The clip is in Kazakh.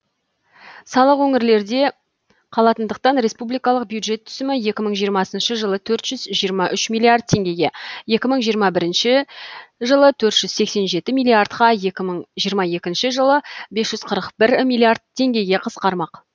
салық өңірлерде қалатындықтан республикалық бюджет түсімі екі мың жиырмасыншы жылы төрт жүз жиырма үш миллиард теңгеге екі мың жиырма бірінші жылы төрт жүз сексен жеті миллиардқа екі мың жиырма екінші жылы бес жүз қырық бір миллиард теңгеге қысқармақ